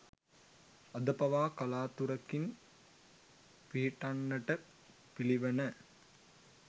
අද පවා කලාතුරකින් පිහිටන්නට පිළිවණ.